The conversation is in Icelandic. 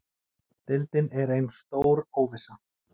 Deildin er ein stór óvissa